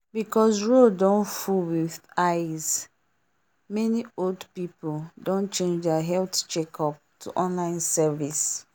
because road don full with ice many old people don change their health checkup to online service